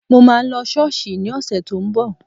Mo máa lọ Ṣọ́ọ̀ṣì ní ọ̀sẹ̀ tó ń bọ̀